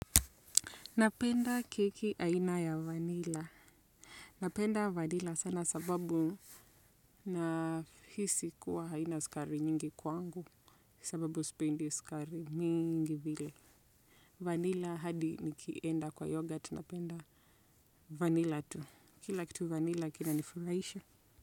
Napenda keki aina ya vanila. Napenda vanila sana sababu na hisi kuwa haina sukari nyingi kwangu. Sababu sipendi sukari mingi vile. Vanila hadi nikienda kwa yogurt napenda vanila tu. Kila kitu vanila kina nifurahisha.